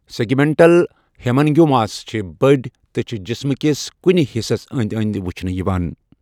Segmental hemangiomas چھِ بٔڑۍ، تہٕ چھِ جسمہٕ کِس کُنہِ حصس انٛدۍ انٛدۍ وچھنہٕ یِوان۔